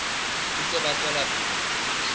ntse ba tswela pele ho